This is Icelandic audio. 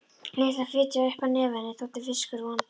Lilla fitjaði upp á nefið, henni þótti fiskur vondur.